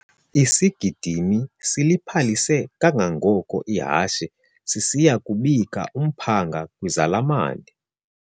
Isigidimi siliphalise kangangoko ihashe sisiya kubika umphanga kwizalamane.